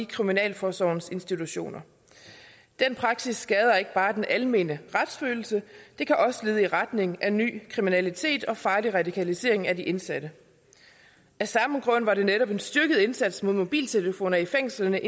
i kriminalforsorgens institutioner den praksis skader ikke bare den almene retsfølelse det kan også lede i retning af ny kriminalitet og farlig radikalisering af de indsatte af samme grund var netop en styrket indsats mod mobiltelefoner i fængslerne